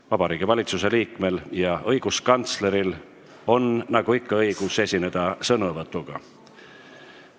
Ka Vabariigi Valitsuse liikmel ja õiguskantsleril on nagu ikka õigus sõnavõtuga esineda.